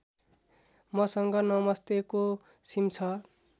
मसँग नमस्तेको सिम छ